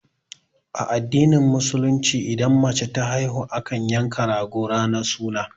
A addinin musulunci idan mace ta haihu, akan yanka rago ranar suna.